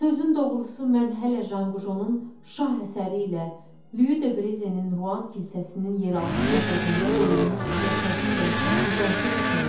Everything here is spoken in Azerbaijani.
Sözün doğrusu mən hələ Janqujonun şah əsəri ilə Lü de Brezenin Ruan kilsəsinin yeraltı məbədində qoyulmuş cəsədi ilə müqayisə etmirəm.